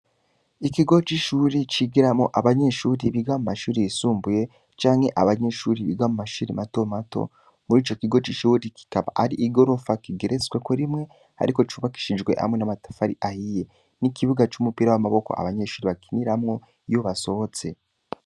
Ikigo c'ishuri, cigiramwo abanyeshuri biga mu mashuri yisumbuye, canke abanyeshuri biga mu mashuri mato mato; muri ico kigo c'ishuri, kikaba ari igorofa kigeretsweko rimwe, ariko yubakishijwe hamwe n'amatafari ahiye, n'ikibuga c'umupira w'amaboko abanyeshuri bakiniramwo iyo basohotse.